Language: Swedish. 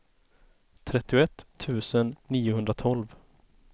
trettioett tusen niohundratolv